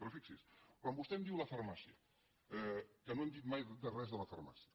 però fixis’hi quan vostè em diu la farmàcia que no hem dit mai res de la farmàcia